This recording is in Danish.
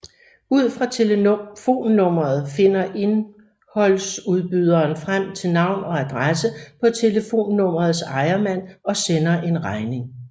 Ud fra telefonnummeret finder indholdsudbyderen frem til navn og adresse på telefonnummerets ejermand og sender en regning